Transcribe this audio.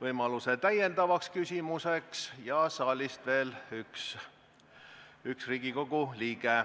võimaluse täiendavaks küsimuseks ja saalist veel üks Riigikogu liige.